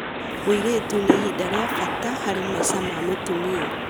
ũritũ nĩ ihinda rĩa bata harĩ maica ma mũtumia.